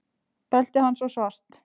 Beltið hans var svart.